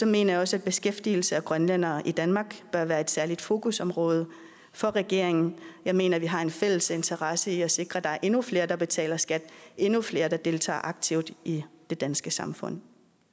mener jeg også at beskæftigelse af grønlændere i danmark bør være et særligt fokusområde for regeringen jeg mener at vi har en fælles interesse i at sikre at der endnu flere der betaler skat endnu flere der deltager aktivt i det danske samfund